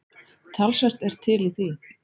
Talsvert er til í því.